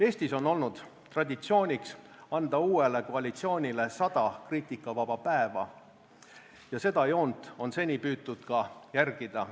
Eestis on olnud traditsiooniks anda uuele koalitsioonile sada kriitikavaba päeva ja seda joont on seni püütud ka järgida.